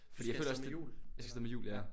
Så du skal af sted med hjul eller ja